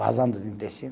Vazando do intestino.